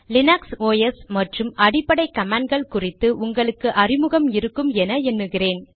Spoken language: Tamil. லீனக்ஸ் ஒஸ் மற்றும் அடிப்படை காமான்ட்கள் குறித்து உங்களுக்கு அறிமுகம் இருக்கும் என எண்ணுகிறேன்